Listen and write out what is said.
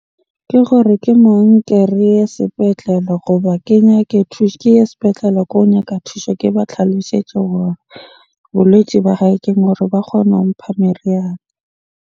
Ke gore ke mo nke reye sepetlele goba ke nyake ke ye sepetlele ko nyaka thusho. Ke ba tlhalosetse hore bolwetji ba hae ba kgona ho mpha meriana.